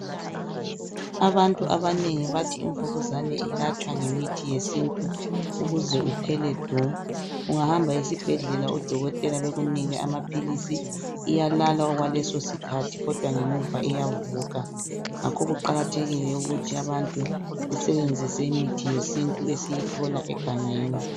Abantu abanengi bathi imvukuzane ilatshwa ngemithi yesintu ukuze uphele du. Ungahamba esibhedlela odokotela bekunike amaphilisi iyalala okwaleso sikhathi kodwa ngemuva iyavuka. Ngakho kuqakathekile ukuthi abantu besebenzise imithi yesintu esiyithola egangeni.